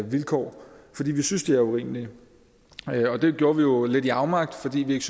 vilkår fordi vi synes at de er urimelige det gjorde vi jo lidt i afmagt fordi vi ikke